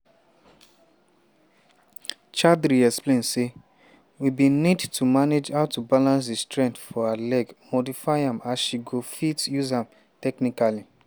chaudhary explain say "we bin need to manage how to balance di strength for her legs modify am as she go fit use am technically.